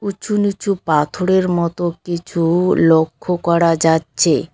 উঁচু নীচু পাথরের মতো কিছু লক্ষ করা যাচ্চে।